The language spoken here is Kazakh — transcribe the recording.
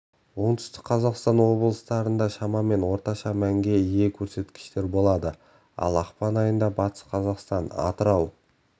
оңтүстік қазақстан облыстарында шамамен орташа мәнге ие көрсеткіштер болады ал ақпан айында батыс қазақстан атырау